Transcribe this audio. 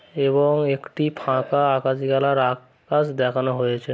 এবং একটি ফাঁকা আকাশি কালার আ-কাশ দেখানো হয়েছে।